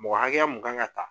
Mɔgɔ hakɛya mun kan kan ka ta.